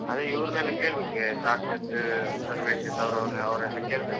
ಅದೇ ಇವರನ್ನೆಲ್ಲಾ ಕೇಳ್ಬೇಕು ಸಾಕ್ಷತ್, ಸರ್ವೇಶ್, ಸೌರವ್ ಅವರನ್ನೆಲ್ಲ ಕೇಳ್ಬೇಕ್.